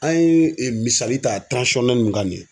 An ye e misali ta tiranzisɔnnɛli min kan nin ye